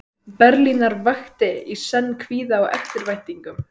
Berlínar vakti í senn kvíða og eftirvæntingu.